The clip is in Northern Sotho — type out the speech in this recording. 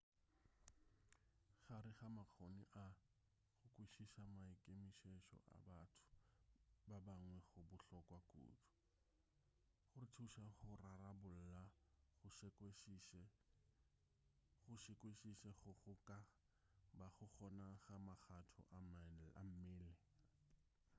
gare ga makgoni a go kwešiša maikemišetšo a batho ba bangwe go bohlokwa kudu go re thuša go rarabolla go sekwešiše go go ka bago gona ga magatho a mmele